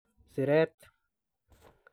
siret.